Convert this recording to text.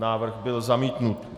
Návrh byl zamítnut.